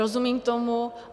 Rozumím tomu.